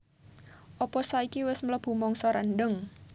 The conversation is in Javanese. opo saiki wes mlebu mangsa rendheng?